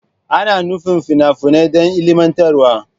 Ana nufin fina-finai don ilmantarwa.